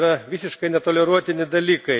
Tai yra visiškai netoleruotini dalykai.